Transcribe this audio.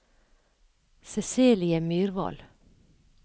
Cecilie Myrvold